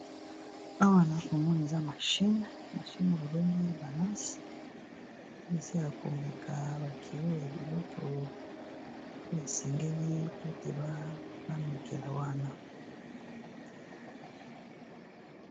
Awa na komona eza mashine mashine babengi balansi oyo eza ya komeka bakilo ya biloko oyo esengeli po ete bamekela wana